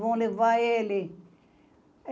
Vão levar ele.